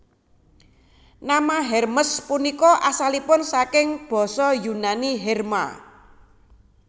Nama Hermes punika asalipun saking Basa Yunani herma